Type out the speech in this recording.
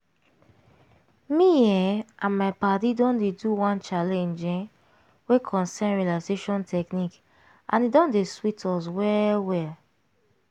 me um and my padi don dey do one challenge um wey concern relaxation technique and e don dey sweet us well well.